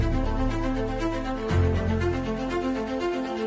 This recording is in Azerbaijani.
12 nömrəli sifariş ilə bağlı zəng eləmişəm.